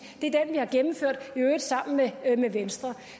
øvrigt sammen med venstre